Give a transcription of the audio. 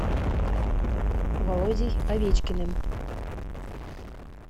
володей овечкиным